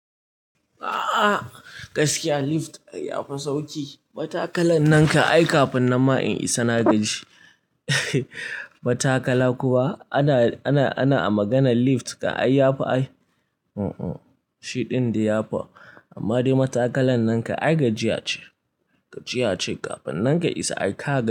A'a gaskiya lift ya fi sauki. Matakalan nan ka ai kafin nan ma in isa na gaji. Matakala kuwa ana, ana, ana a maganan lift ka ai yafi ai. Shi din dai ya fi, amma dai matakalan nan ka ai gajiya ce, gajiya ce kafin nan ka isa aika gaji.